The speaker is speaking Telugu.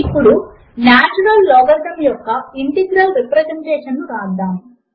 ఇప్పుడు నాచురల్ లాగరిథం యొక్క ఇంటిగ్రల్ రిప్రజెంటేషన్ ను వ్రాద్దాము